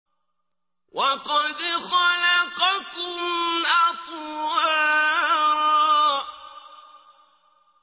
وَقَدْ خَلَقَكُمْ أَطْوَارًا